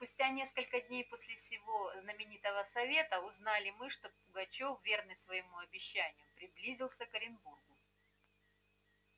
спустя несколько дней после сего знаменитого совета узнали мы что пугачёв верный своему обещанию приблизился к оренбургу